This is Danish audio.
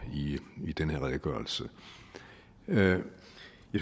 i den her redegørelse jeg